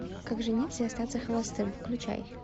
как жениться и остаться холостым включай